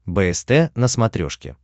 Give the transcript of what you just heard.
бст на смотрешке